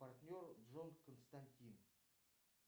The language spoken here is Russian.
партнер джон константин